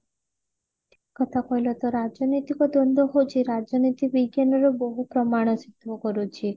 ଠିକ କଥା କହିଲ ତା ରାଜନୈତିକ ଦ୍ଵନ୍ଦ ହେଉଚି ରାଜନୀତି ବିଜ୍ଞାନ ର ବୋହୁ ପ୍ରମାଣ ସିଦ୍ଧ କରୁଚି